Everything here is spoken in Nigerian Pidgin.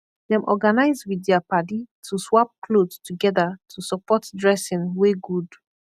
dem organise wit dia padi to swap kloth togeda to supportt dressing wey good